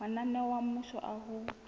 mananeo a mmuso a ho